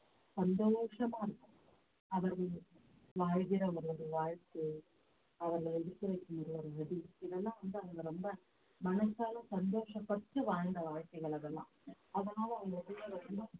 சந்தோஷமா இருக்கும் அவர்கள் வாழ்கிற அவரது வாழ்க்கை அவர்களை இதெல்லாம் வந்து அவங்க ரொம்ப மனசால சந்தோஷப்பட்டு வாழ்ந்த வாழ்க்கைகள் அதெல்லாம் அதனால அவங்களுக்குள்ள ரொம்ப